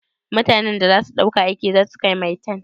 Mutanan da za ku ɗauka aiki za su kai maitan?